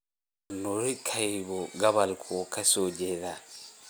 wanuuri kahiu gobolkee ayuu ka soo jeedaa?